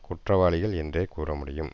குற்றவாளிகள் என்றே கூற முடியும்